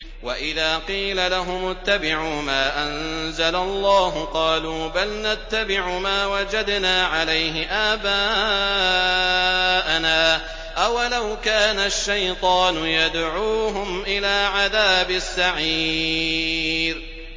وَإِذَا قِيلَ لَهُمُ اتَّبِعُوا مَا أَنزَلَ اللَّهُ قَالُوا بَلْ نَتَّبِعُ مَا وَجَدْنَا عَلَيْهِ آبَاءَنَا ۚ أَوَلَوْ كَانَ الشَّيْطَانُ يَدْعُوهُمْ إِلَىٰ عَذَابِ السَّعِيرِ